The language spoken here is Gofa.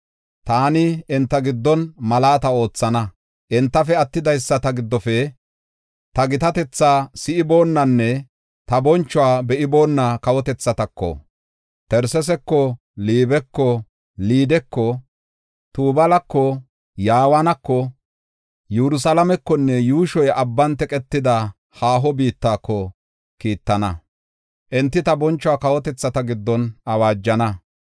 Taani enta giddon malaata oothana; entafe attidaysata giddofe ta gitatetha si7iboonanne ta bonchuwa be7iboona kawotethatako, Tarsesako, Liibeko, Liideko, Tubaalako, Yawaanakonne yuushoy abban teqetidi haaho biittatako kiittana; enti ta bonchuwa kawotethata giddon awaajana.